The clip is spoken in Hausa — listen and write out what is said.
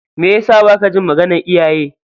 Meyasa baka jin maganar iyaye?